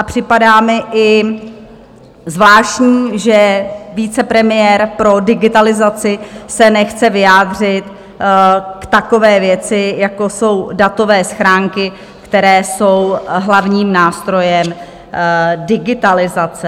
A připadá mi i zvláštní, že vicepremiér pro digitalizaci se nechce vyjádřit k takové věci, jako jsou datové schránky, které jsou hlavním nástrojem digitalizace.